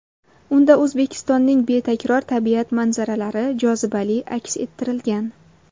Unda O‘zbekistonning betakror tabiat manzaralari jozibali aks ettirilgan.